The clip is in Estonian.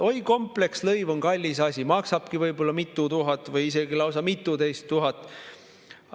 Oi, kompleksluba on kallis asi, maksabki võib-olla mitu tuhat või isegi lausa mituteist tuhat.